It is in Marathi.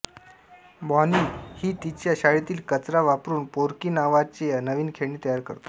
बॉनी ही तिच्या शाळेतील कचरा वापरून फोर्की नावाचे नवीन खेळणी तयार करतो